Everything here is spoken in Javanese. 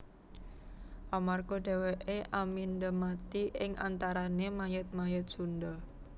Amarga dhèwèké amindha mati ing antarané mayit mayit Sundha